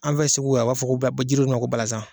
An fɛ segu yan o b'a fɔ bɛ jiri min ma ko balanzan